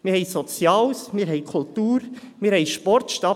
Wir haben Soziales, wir haben Kultur, wir haben Sport.